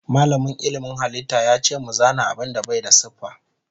Malamin ilmin halitta yace mu zana abinda Bai da siffa.